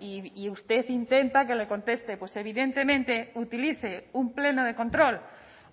y usted intenta que le conteste pues evidentemente utilice un pleno de control